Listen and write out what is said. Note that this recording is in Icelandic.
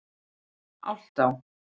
Álftá